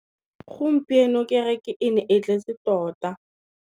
Gompieno kêrêkê e ne e tletse tota.